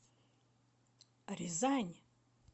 рязань